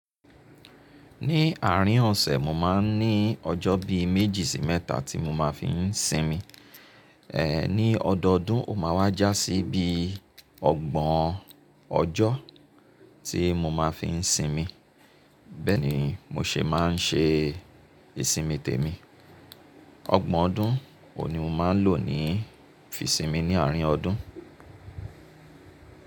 Ní àárín ọ̀sẹ̀, mo máa ń ní ọjọ́ bí méjì sí mẹ́ta tí mo máa fi ń sinmi. Ní ọdọọdún, ó máa wá já sí bí ọgbọ̀n ọjọ́ tí mo máa fi ń sinmi. Bẹ́ẹ̀ ni mo ṣe máa ń ṣe ìsinmi tèmi. Ọgbọ̀n ọdún òhun ní mo máa ń lò ni fi sinmi ní àárín ọdún.